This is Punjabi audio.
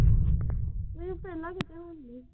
ਨਹੀਂ ਪਹਿਲਾ ਕਿਦਾਂ ਜਾਂਦੀ ਆ।